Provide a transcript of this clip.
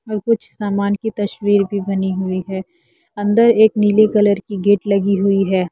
और कुछ सामान की तस्वीर भी बनी हुई है अन्दर एक नीले कलर की गेट लगी हुई है।